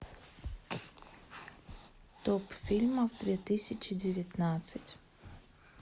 топ фильмов две тысячи девятнадцать